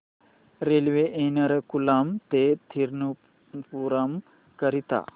railway Ernakulam ते थिरुवनंतपुरम करीता